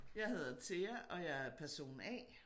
Jeg hedder Thea og jeg er person A